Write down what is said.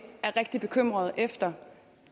er rigtig bekymrede efter